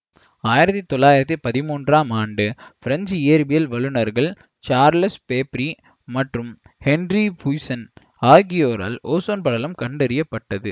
ஆயிரத்தி தொள்ளாயிரத்தி பதிமூன்றாம் ஆண்டு பிரஞ்சு இயற்பியல் வல்லுநர்கள் சார்லஸ் ஃபேப்ரி மற்றும் ஹென்றி புய்சன் ஆகியோரால் ஓசோன் படலம் கண்டறிய பட்டது